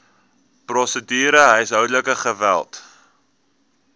prosedure huishoudelike geweld